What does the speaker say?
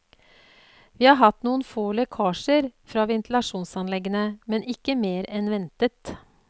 Vi har hatt noen få lekkasjer fra ventilasjonsanleggene, men ikke mer enn ventet.